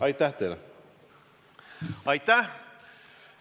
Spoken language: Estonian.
Aitäh!